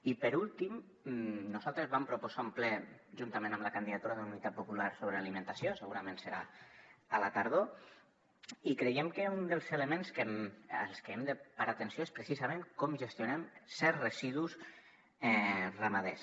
i per últim nosaltres vam proposar un ple juntament amb la candidatura d’unitat popular sobre alimentació segurament serà a la tardor i creiem que un dels elements als que hem de parar atenció és precisament com gestionem certs residus ramaders